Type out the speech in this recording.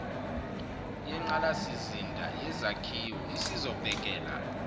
yengqalasizinda yezakhiwo isizobhekela